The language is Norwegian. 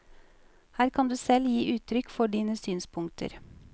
Her kan du selv gi uttrykk for dine synspunkter.